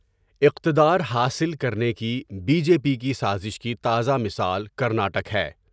اقتدار حاصل کرنے کی بی جے پی کی سازش کی تازہ مثال کرنٹک ہے ۔